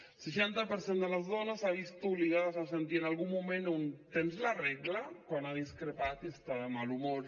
el seixanta per cent de les dones s’han vist obligades a sentir en algun moment un tens la regla quan ha discrepat i està de mal humor